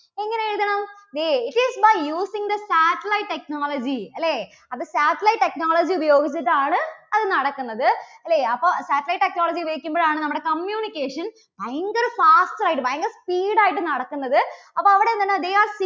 They it is by using the satellite technology അല്ലേ? അത് satellite technology ഉപയോഗിച്ചിട്ടാണ് അത് നടക്കുന്നത് അല്ലേ അപ്പോ satellite technology ഉപയോഗിക്കുമ്പോഴാണ് നമ്മുടെ communication ഭയങ്കര fast ആയിട്ട് ഭയങ്കര speed ആയിട്ട് നടക്കുന്നത്. അപ്പോ അവിടെ ഇങ്ങനെ they are